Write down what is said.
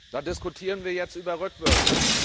Da diskutieren wir jetzt über Rückwürfe.